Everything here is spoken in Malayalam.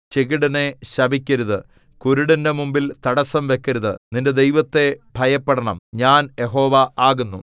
ചെകിടനെ ശപിക്കരുത് കുരുടന്റെ മുമ്പിൽ തടസ്സം വെക്കരുത് നിന്റെ ദൈവത്തെ ഭയപ്പെടണം ഞാൻ യഹോവ ആകുന്നു